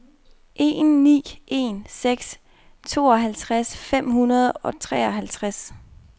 en ni en seks tooghalvtreds fem hundrede og treoghalvtreds